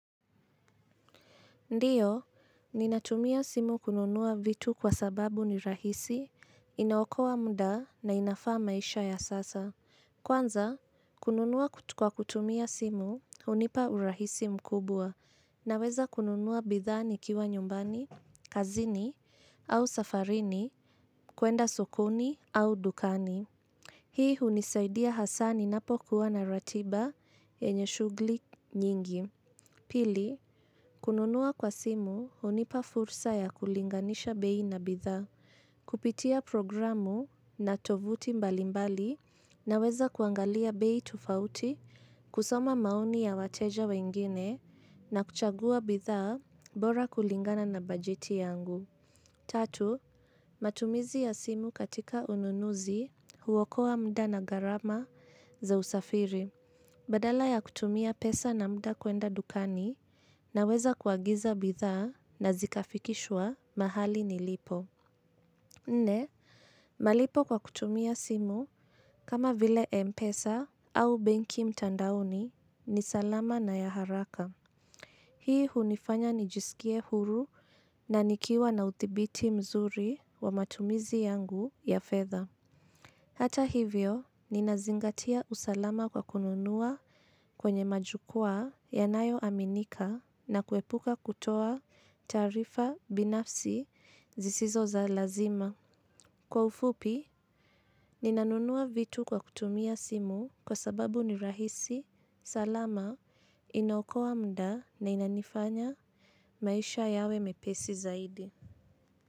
Ndiyo, ninatumia simu kununua vitu kwa sababu ni rahisi, inaokoa muda na inafaa maisha ya sasa. Kwanza, kununua kwa kutumia simu, hunipa urahisi mkubwa, naweza kununua bidhaa nikiwa nyumbani, kazini, au safarini, kuenda sokoni au dukani. Hii hunisaidia hasa ninapo kuwa na ratiba yenye shughuli nyingi. Pili, kununua kwa simu hunipa fursa ya kulinganisha bei na bidhaa, kupitia programu na tovuti mbalimbali naweza kuangalia bei tofauti, kusoma maoni ya wateja wengine na kuchagua bidhaa bora kulingana na bajeti yangu. Tatu, matumizi ya simu katika ununuzi huokoa muda na gharama za usafiri. Badala ya kutumia pesa na muda kuenda dukani naweza kuagiza bidhaa na zikafikishwa mahali nilipo. Nne, malipo kwa kutumia simu kama vile mpesa au benki mtandaoni ni salama na ya haraka. Hii hunifanya nijisikie huru na nikiwa na uthibiti mzuri wa matumizi yangu ya fedha. Hata hivyo, ninazingatia usalama kwa kununua kwenye majukua yanayo aminika na kuepuka kutoa taarifa binafsi zisizo za lazima. Kwa ufupi, ninanunua vitu kwa kutumia simu kwa sababu ni rahisi, salama, inaokoa muda na inanifanya maisha yawe mepesi zaidi.